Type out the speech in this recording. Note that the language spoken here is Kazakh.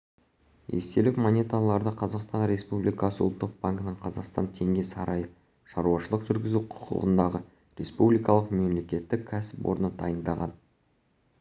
естелік монеталарды қазақстан республикасы ұлттық банкінің қазақстан теңге сарайы шаруашылық жүргізу құқығындағы республикалық мемлекеттік кәсіпорны дайындаған